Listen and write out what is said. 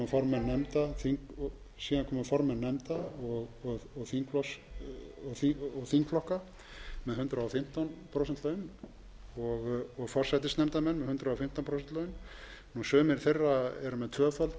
formenn nefnda og þingflokka með með hundrað og fimmtán prósent laun og forsætisnefndarmenn með hundrað og fimmtán prósent laun sumir þeirra eru með tvöfalt álag og eru þess vegna með hundrað þrjátíu